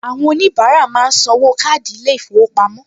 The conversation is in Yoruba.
Àwọn oníbàárà máa ń san owó káàdì ilé-ìfowópamọ́